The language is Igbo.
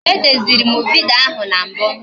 E deziri m vidiyo ahụ na mbụ